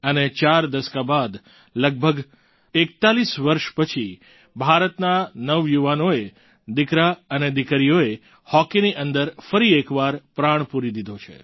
અને ચાર દસકા બાદ લગભગ લગભગ 41 વર્ષ પછી ભારતના નવયુવાનોએ દિકરા અને દિકરીઓએ હોકીની અંદર ફરી એકવાર પ્રાણ પૂરી દીધો છે